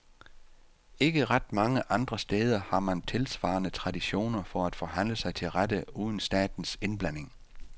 Ikke ret mange andre steder har man tilsvarende tradition for at forhandle sig til rette uden statens indblanding.